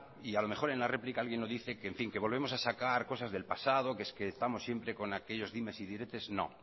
y a lo mejor en la réplica alguien lo dice que en fin que volvemos a sacar cosas del pasado que es que estamos siempre con aquellos dimes y diretes no